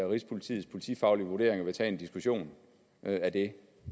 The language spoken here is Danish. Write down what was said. rigspolitiets politifaglige vurderinger vil tage en diskussion af det